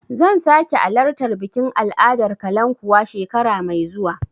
Zan sake alartar bikin al'adar kalankuwa shekara mai zuwa.